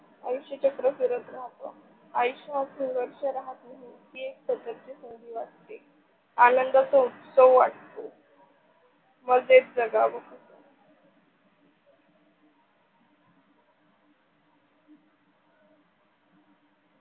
अशी चक्र फिरत राहतो आयुष्य हा संघर्ष राहत नाही. ती एक संधि वाटते, आनंदाचा उत्सव वाटतो मजेत जागाव.